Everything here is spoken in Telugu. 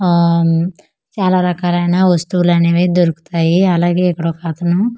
ఆన్ చాలా రకాలైన వస్తువులనేవి దొరుకుతాయి అలాగే ఇక్కడొకతను--